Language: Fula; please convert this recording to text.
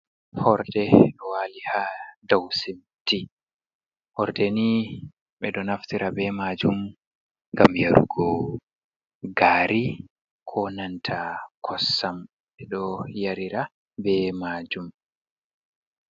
Hoorde ɗo waali haa doo siminti, hoorde ni ɓe ɗo naftira be maajum ngam yarugo gaari, koo nanta koosam, ɓe ɗo yarira bee maajum.